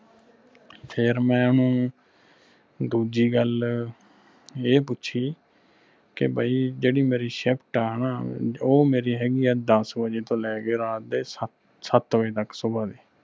ਫਿਰ ਮੈਂ ਓਹਨੂੰ ਦੂਜੀ ਗੱਲ ਇਹ ਪੁੱਛੀ ਕੇ ਬਈ ਜਿਹੜੀ ਮੇਰੀ shift ਆ ਨਾ ਉਹ ਮੇਰੀ ਹੇਗੀ ਆ ਦਸ ਵਜੇ ਤੋਂ ਲੈ ਕੇ ਰਾਤ ਦੇ ਸਤ ਸਤ ਵਜੇ ਤਕ ਸੁਬਹ ਦੇ